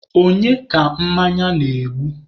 Onye ka mmanya na-egbu?